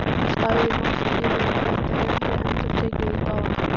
Stæði markið ef þetta yrði endurtekið í dag?